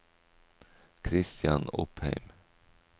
Christian Opheim